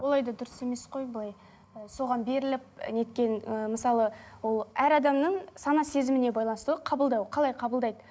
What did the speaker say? олай да дұрыс емес қой былай ы соған беріліп неткен ы мысалы ол әр адамның сана сезіміне байланысты ғой қабылдау қалай қабылдайды